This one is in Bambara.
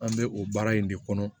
An bɛ o baara in de kɔnɔ